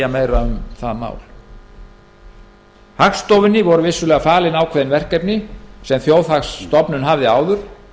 meira um það mál hagstofunni voru vissulega falin ákveðin verkefni sem þjóðhagsstofnun hafði áður